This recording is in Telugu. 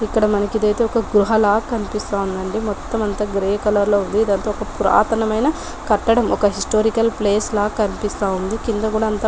ఇక్కడ మనకి ఇదైతే ఒక గుహ లా కనిపిస్తుంది మొత్తం అంతా గ్రే కలర్ లో ఉంది ఇదంతా ఒక పురాతన మైన కట్టడం ఒక హిస్టారికల్ ప్లేస్ లా కనిపిస్తా ఉంది కింద కూడా అంత --.